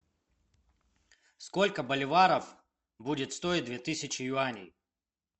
сколько боливаров будет стоит две тысячи юаней